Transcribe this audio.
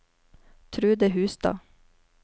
Trude Hustad